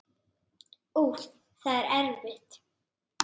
Úff, það er erfitt.